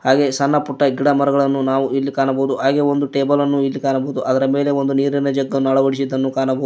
ಹಾಗೆ ಸಣ್ಣ ಪುಟ್ಟ ಗಿಡಮರಗಳನ್ನು ನಾವು ಇಲ್ಲಿ ಕಾಣಬಹುದು ಹಾಗೆ ಒಂದು ಟೇಬಲನ್ನು ಇಲ್ಲಿ ಕಾಣಬಹುದು ಅದರ ಮೇಲೆ ಒಂದು ನೀರಿನ ಜಗ್ಗ ನ್ನು ಅಳವಡಿಸಿದ್ದನ್ನೂ ಕಾಣಬೋದ್--